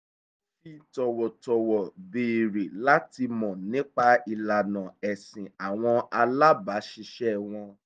ó fi tọ̀wọ̀ tọ̀wọ̀ béèrè láti mọ̀ nípa ìlànà ẹ̀sìn àwọn alábáṣiṣẹ́ wọn